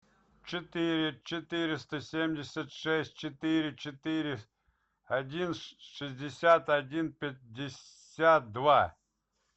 четыре четыреста семьдесят шесть четыре четыре один шестьдесят один пятьдесят два